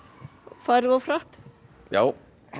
farið of hratt já